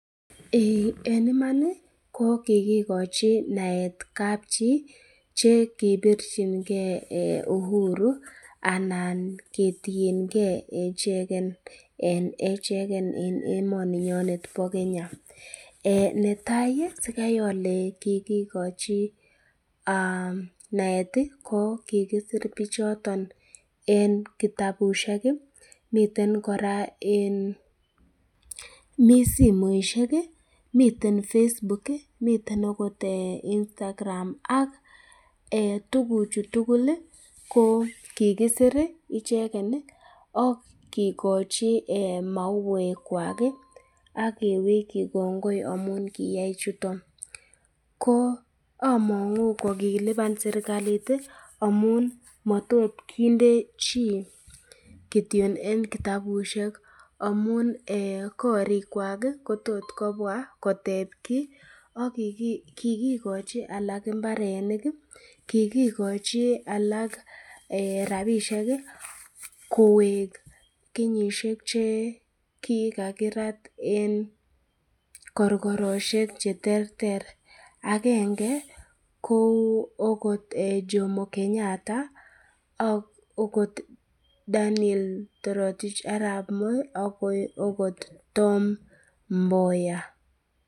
Eiy en iman ko kigikochi naet kapchi che kipirchinge uhuru anan ketienge ichegen en echegen en emoninyonet bo Kenya. Netai sikai ole kigikochi naet ko kigipir pichoton en kitabushek, miten kora en, mi simoishek, miten Facebook miten ogot Instagram ak tuguchu tugul ko kigisir icheget ak kigochi mauwek kwak ak keweki kongoi amun keyai chuton. Ko among'u kogilipan serkalit amun motot kinde chi kityon en kitabushek amun ee korikwak kotot kobwa koteb kiy, ak kigikochi alak mbarenik, kigikochi alak rabishek kowek kenyishek che kiakirat en korkoroshek che terter. Agenge ko ogot Jomo Kenyatta ak Ogot Daniel Toroitich Arap Moi ak ogot Tom Mboya.